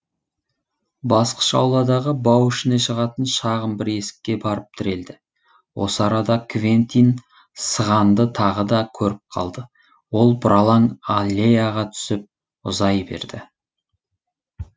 басқыш ауладағы бау ішіне шығатын шағын бір есікке барып тірелді осы арада квентин сығанды тағы да көріп қалды ол бұралаң аллеяға түсіп ұзай берді